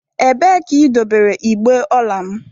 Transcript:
Ebee ka idobere igbe ọla m?